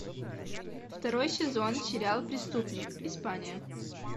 второй сезон сериал преступник испания